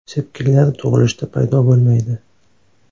Sepkillar tug‘ilishda paydo bo‘lmaydi.